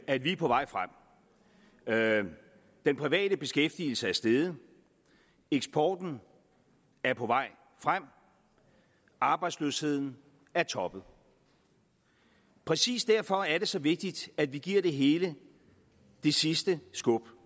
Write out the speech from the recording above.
at vi er på vej frem den private beskæftigelse er steget eksporten er på vej frem arbejdsløsheden er toppet præcis derfor er det så vigtigt at vi giver det hele det sidste skub